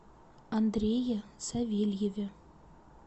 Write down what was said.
андрее савельеве